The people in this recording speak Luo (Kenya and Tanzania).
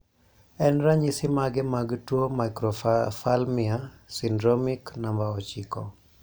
en ranyisi mage mag tuo Microphalmia syndromic namba ochiko